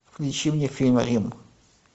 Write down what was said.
включи мне фильм рим